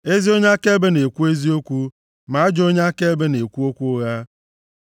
Ezi onye akaebe na-ekwu eziokwu, ma ajọ onye akaebe na-ekwu okwu ụgha.